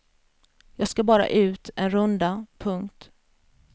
Jag ska bara ut en runda. punkt